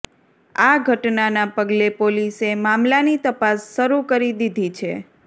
આ ઘટનાના પગલે પોલીસે મામલાની તપાસ શરૂ કરી દીધી છે